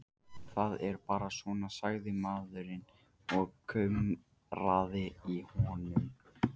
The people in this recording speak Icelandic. Það er bara svona, sagði maðurinn og kumraði í honum.